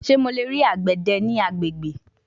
Ṣe Mo le rii agbede ni agbegbe